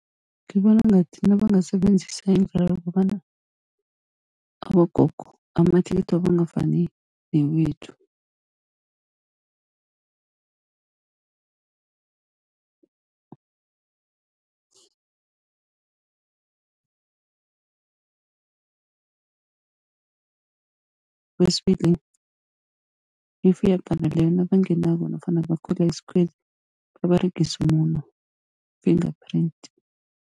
Ngibona ngathi nabangasebenzisa indlela yokobana, abogogo amathikithi wabo angafani newethu. Kwesibili if iyabhala leyo nabangenako nofana bakhwela isikhweli baberegise umuno, finger print.